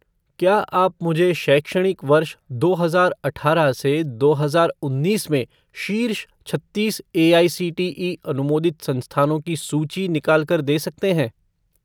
क्या आप मुझे शैक्षणिक वर्ष दो हजार अठारह से दो हजार उन्नीस में शीर्ष छत्तीस एआईसीटीई अनुमोदित संस्थानों की सूची निकाल कर दे सकते हैं?